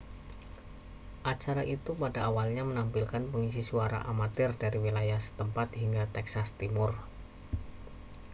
acara itu pada awalnya menampilkan pengisi suara amatir dari wilayah setempat hingga texas timur